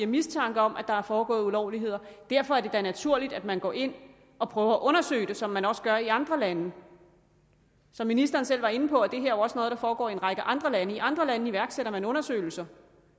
mistanke om at der er foregået ulovligheder og derfor er det da naturligt at man går ind og prøver at undersøge det som man også gør i andre lande som ministeren selv var inde på er det her jo også noget der foregår i en række andre lande og i andre lande iværksætter man undersøgelser